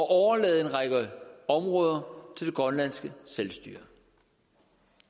overlade en række områder til det grønlandske selvstyre